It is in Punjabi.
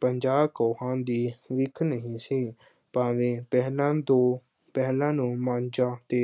ਪੰਜਾਹ ਕੋਹਾਂ ਦੀ ਵਿੱਥ ਨਹੀਂ ਸੀ ਭਾਵੇਂ ਪਹਿਲਾਂ ਦੋ ਪਹਿਲਾਂ ਨੂੰ ਮਾਚਾਂ ਤੇ